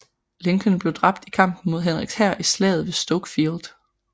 Lincoln blev dræbt i kampen mod Henriks hær i Slaget ved Stoke Field